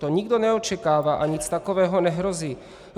To nikdo neočekává a nic takového nehrozí.